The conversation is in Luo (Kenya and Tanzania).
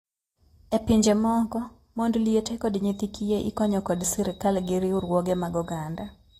E pinje moko, mond liete kod nyithi kiye ikonyo kod sirkal gi riwruoge mag oganda.